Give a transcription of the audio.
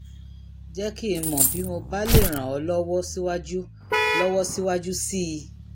jẹ́ kí n mọ̀ bí mo bá lè ràn ọ́ lọ́wọ́ síwájú lọ́wọ́ síwájú sí i